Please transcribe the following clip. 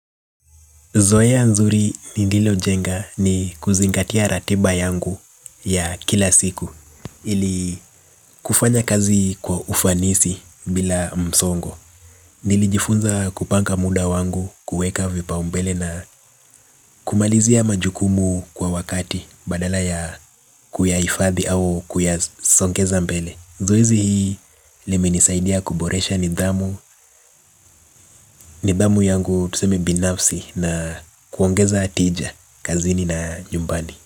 Zoeya nzuri nililo jenga ni kuzingatia ratiba yangu ya kila siku. Ili kufanya kazi kwa ufanisi bila msongo nilijifunza kupanga muda wangu, kueka vipaumbele na kumalizia majukumu kwa wakati. Badala ya kuyayifathi au kuyasongeza mbele zoezi hii liminisaidia kuboresha nidhamu. Nidhamu yangu tuseme binafsi na kuongeza tija, kazini na nyumbani.